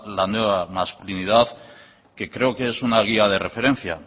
la nueva masculinidad que creo que es una guía de referencia